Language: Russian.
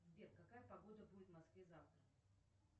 сбер какая погода будет в москве завтра